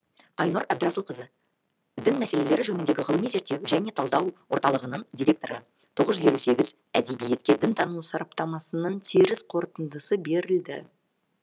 айнұр әбдірасылқызы дін мәселелері жөніндегі ғылыми зерттеу және талдау орталығының директоры тоғыз жүз елу әдебиетке дінтану сараптамасының теріс қорытындысы берілді